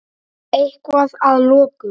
Eitthvað að lokum?